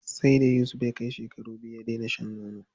Sai da Yusuf ya kai shekara biyu ya dena shan nono.